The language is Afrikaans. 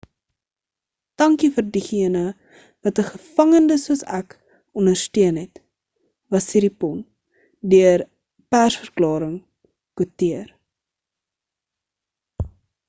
dankie vir diegene wat 'n gevangende soos ek ondersteun het was siriporn deur 'n persverklaring kwoteer